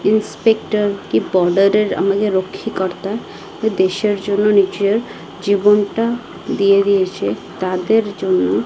inspector কী border -এর আমাদের রক্ষীকর্তা দেশের জন্য নিজের জীবনটা দিয়ে দিয়েছে তাদের জন্য--